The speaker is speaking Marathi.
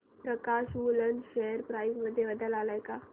प्रकाश वूलन शेअर प्राइस मध्ये बदल आलाय का